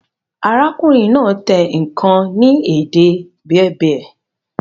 Arákùnrin náà type nkàn ni èdè Berber